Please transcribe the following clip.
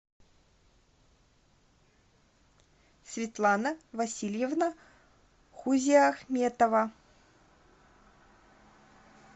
светлана васильевна хузиахметова